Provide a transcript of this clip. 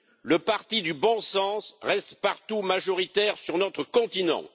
Le parti du bon sens reste partout majoritaire sur notre continent.